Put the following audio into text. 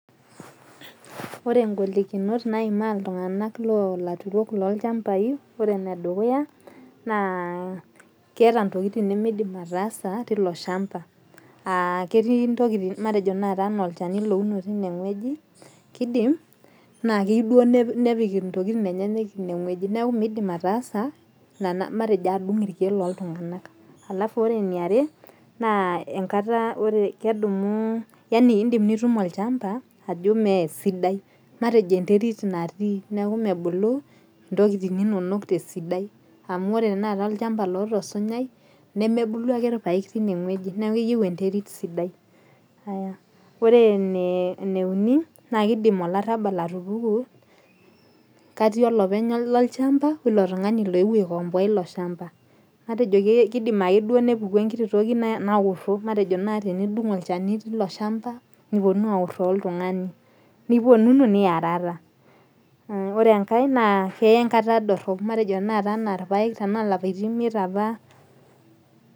Ore golikinot naimaa iltung'ana loo laturok loo ichambai, ore ene dukuya naa keeta intokitin nimidim tasa tilo shamba. Aa keti intokintin matejo tenakata enaa olchani louno tineweji, kidim naa keyeu duo nepik intokin enyenyek ineweji. Neeku midim ataasa matejo adung' irkeek leiking'a. Alafu ore ene iare naa enkata. Ore kedumu, yaani idim nitum olchamba ajo mesidai, matejo enterit natii ajo mebulu intokitin inonok tesidai. Amu ore tenakata olchamba ootaa osinyai nemebulu ake irpaek tineweji, neeku keyeu enterit sidai. Ore ene uni, na kidim olarabal atupuku katii olopeny lilo shamba oo ilo leuo aikomboa ilo shamba. Atejo kidim ake duo nepuku enkiti toki naoro matejo naji teniding' alchani tolo shamba neoro, nipuoni aoro oltung'ani. Niponunu niarara. Ore enkae naa enkata dorop. Matejo tenakata anaa irpaek tena ilapaitin imiet apa.